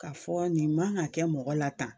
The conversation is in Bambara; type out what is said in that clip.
Ka fɔ nin man ka kɛ mɔgɔ la tan,